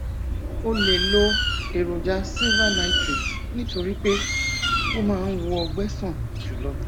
o lè lo èròjà silver nitrate nítorí pé ó máa ń wo ọgbẹ sàn jù lọ